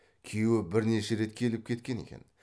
күйеуі бірнеше рет келіп кеткен екен